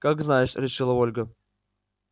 как знаешь решила ольга